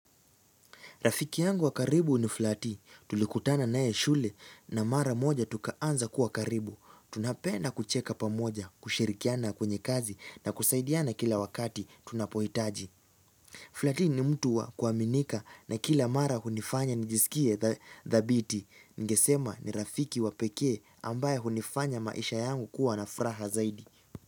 Rafiki yangu wa karibu ni Flati. Tulikutana naye shule na mara moja tukaanza kuwa karibu. Tunapenda kucheka pamoja, kushirikiana kwenye kazi na kusaidiana kila wakati tunapohitaji. Flati ni mtu wa kuaminika na kila mara hunifanya nijisikie thabiti. Ningesema ni rafiki wa pekee ambaye hunifanya maisha yangu kuwa na furaha zaidi.